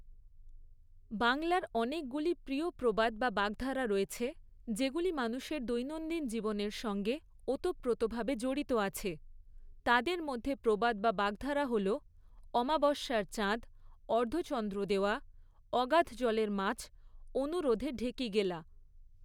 বাংলার অনেকগুলি প্রিয় প্রবাদ বা বাগধারা রয়েছে, যেগুলি মানুষের দৈনন্দিন জীবনের সঙ্গে ওতপ্রোতভাবে জড়িত আছে, তাদের মধ্যে প্রবাদ বা বাগধারা হল, অমাবস্যার চাঁদ, অর্ধচন্দ্র দেওয়া, অগাধ জলের মাছ, অনুরোধে ঢেঁকি গেলা।